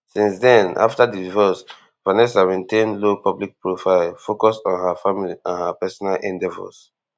since den afta di divorce vanessa maintain low public profile focus on her family and personal endeavours